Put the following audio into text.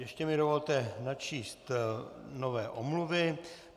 Ještě mi dovolte načíst nové omluvy.